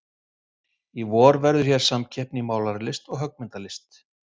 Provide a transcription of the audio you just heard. Í vor verður hér samkeppni í málaralist og höggmyndalist.